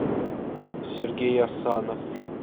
сергей асанов